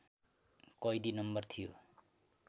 कैदी नम्बर थियो